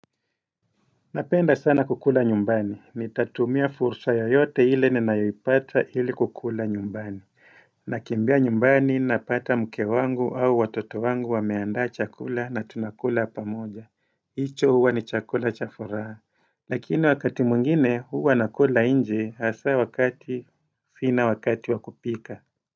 Napenda sana kukula nyumbani, nitatumia fursa yoyote ile ninayoipata ili kukula nyumbani nakimbia nyumbani napata mke wangu au watoto wangu wameandaa chakula na tunakula pamoja hicho huwa ni chakula cha furaha Lakini wakati mwingine huwa nakula nje hasa wakati sina wakati wa kupika.